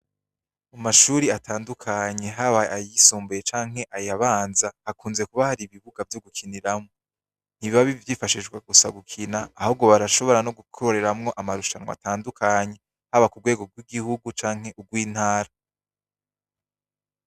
Mu mashure atandukanye, haba ayisumbuye canke ayabanza, hakunze kuba hari ibibuga vyo gikiniramwo. Ntibiba vyifashishwa gusa gukina, ahubwo barashobora gukoreramwo n'amahiganwa atandukanye, haba ku rwego rw'igihugu canke ku rw'intara.